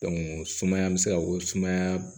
sumaya bɛ se ka ko sumaya